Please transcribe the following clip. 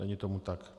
Není tomu tak.